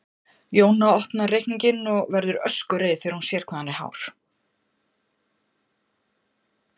Jóna opnar reikninginn og verður öskureið þegar hún sér hvað hann er hár.